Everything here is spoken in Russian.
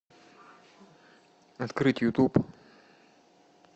открыть ютуб